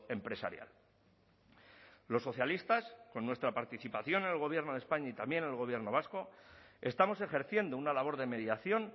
empresarial los socialistas con nuestra participación en el gobierno de españa y también en el gobierno vasco estamos ejerciendo una labor de mediación